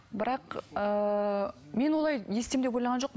бірақ ыыы мен олай не істеймін деп ойлаған жоқпын